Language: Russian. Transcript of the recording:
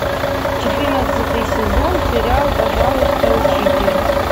четырнадцатый сезон сериал пожалуйста учитель